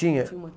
Tinha.